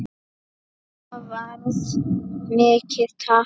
Það varð mikið tap.